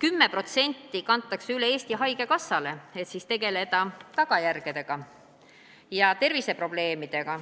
10% kantakse üle Eesti Haigekassale, et tegeleda tagajärgedega, inimeste terviseprobleemidega.